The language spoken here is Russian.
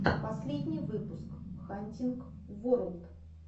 последний выпуск хантинг ворлд